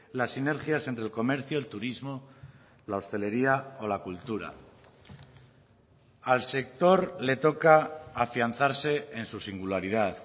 las sinergias entre el comercio el turismo la hostelería o la cultura al sector le toca afianzarse en su singularidad